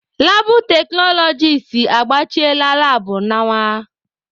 Labụ teknọlọgis agbachiela labụ nawa.